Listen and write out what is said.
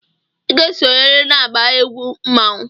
Ị ga-esonyerịrị n'agba egwu mmanwụ!